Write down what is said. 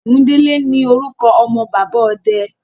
Ògúndélé ní orúkọ ọmọ bàbá ọde.